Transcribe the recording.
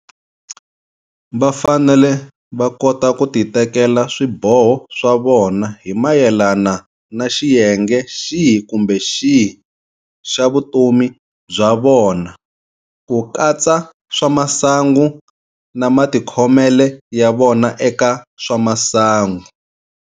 Va fanele va kota ku titekela swiboho swa vona hi mayelana na xiyenge xihi kumbe xihi xa vutomi bya vona, ku katsa swa masangu na matikhomelo ya vona eka swa masangu.